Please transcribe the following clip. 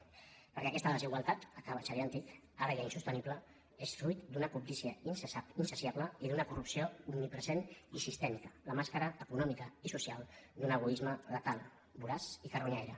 perquè aquesta desigualtat acaba en xavier an·tich ara ja insostenible és fruit d’una cobdícia in·saciable i d’una corrupció omnipresent i sistèmica la màscara econòmica i social d’un egoisme letal voraç i carronyaire